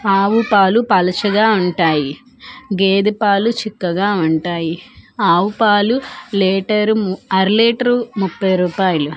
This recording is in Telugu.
ఆవు పాలు పలుచగా ఉంటాయి గేదె పాలు చిక్కగా ఉంటాయి ఆవు పాలు లీటరు అర లీటరు ముప్పై రూపాయలు.